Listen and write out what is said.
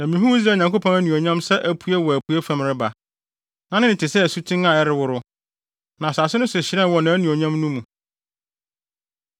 na mihuu Israel Nyankopɔn anuonyam sɛ apue wɔ apuei fam reba. Na ne nne te sɛ asuten a ɛreworo, na asase no so hyerɛnee wɔ nʼanuonyam no mu.